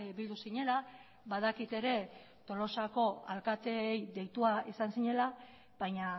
bildu zinela badakit ere tolosako alkateei deitua izan zinela baina